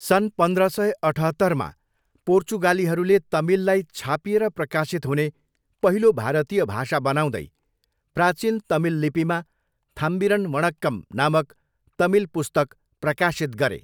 सन् पन्ध्र सय अठहत्तरमा, पोर्चुगालीहरूले तमिललाई छापिएर प्रकाशित हुने पहिलो भारतीय भाषा बनाउँदै प्राचीन तमिल लिपिमा 'थाम्बिरन वणक्कम' नामक तमिल पुस्तक प्रकाशित गरे।